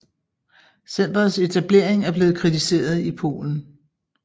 Centrets etablering er blevet kritiseret i Polen